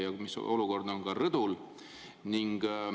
Ja mis olukord on rõdul?